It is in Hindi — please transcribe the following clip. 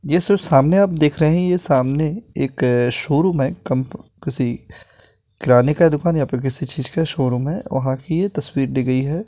ये सो सामने आप देख रहे है ये सामने एक अ शोरूम है कम्प किसी किराने का दुकान या फिर किसी चीज का शोरूम है वहां की ये तस्वीर ली गई है।